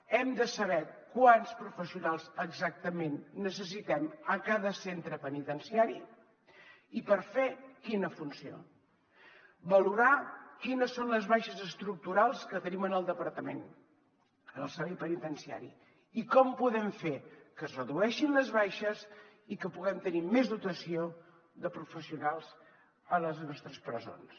hem de saber quants professionals exactament necessitem a cada centre penitenciari i per fer quina funció valorar quines són les baixes estructurals que tenim en el departament del servei penitenciari i com podem fer que es redueixin les baixes i que puguem tenir més dotació de professionals a les nostres presons